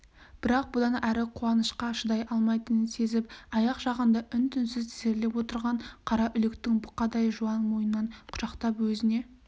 бірақ бұдан әрі қуанышқа шыдай алмайтынын сезіп аяқ жағында үн-түнсіз тізерлеп отырған қараүлектің бұқадай жуан мойнынан құшақтап өзіне